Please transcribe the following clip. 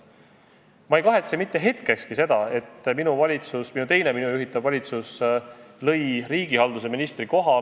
Ma pole mitte hetkegi kahetsenud seda, et teine minu juhitud valitsus lõi riigihalduse ministri koha.